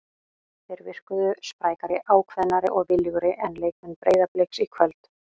Þeir virkuðu sprækari, ákveðnari og viljugri en leikmenn Breiðabliks í kvöld.